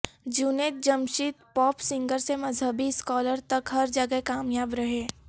Junaid Jamshed pop singer سے مذہبی scholar تک ہر جگہ کامیاب رہے